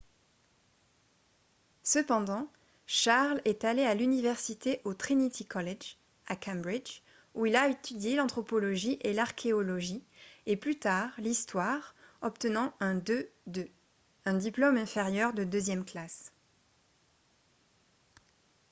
cependant charles est allé à l’université au trinity college à cambridge où il a étudié l’anthropologie et l’archéologie et plus tard l’histoire obtenant un 2:2 un diplôme inférieur de deuxième classe